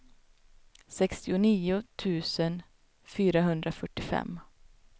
sextionio tusen fyrahundrafyrtiofem